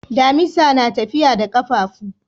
Dimisa na tafiya da kafafu.